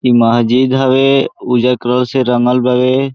इ महजिद हवे उज्जर कलर से रंग बावे।